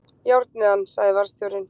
Járnið hann! sagði varðstjórinn.